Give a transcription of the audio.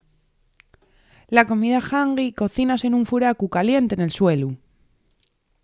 la comida hangi cocínase nun furacu caliente nel suelu